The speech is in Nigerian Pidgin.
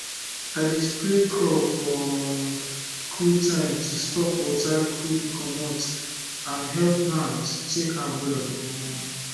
i dey spray crop for um cool time to stop water quick comot and help plant take am well um